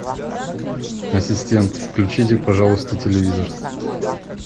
ассистент включите пожалуйста телевизор